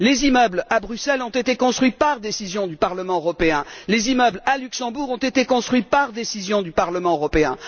Les immeubles à Bruxelles ont été construits sur décision du Parlement européen. Les immeubles à Luxembourg ont été construits sur décision du Parlement européen.